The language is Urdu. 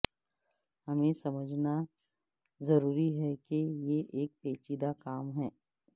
ہمیں سمجھنا ضروری ہے کہ یہ ایک پیچیدہ کام ہے